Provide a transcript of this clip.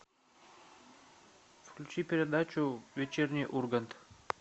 включи передачу вечерний ургант